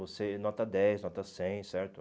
Você nota dez, nota cem, certo?